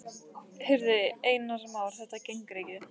Heyrðu, Einar Már, þetta gengur ekki.